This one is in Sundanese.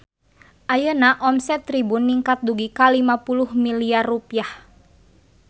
Ayeuna omset Tribun ningkat dugi ka 50 miliar rupiah